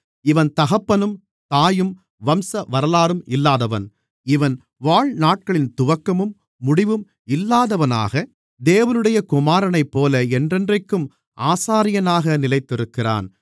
இவன் தகப்பனும் தாயும் வம்சவரலாறும் இல்லாதவன் இவன் வாழ்நாட்களின் துவக்கமும் முடிவும் இல்லாதவனாக தேவனுடைய குமாரனைப்போல என்றென்றைக்கும் ஆசாரியனாக நிலைத்திருக்கிறான்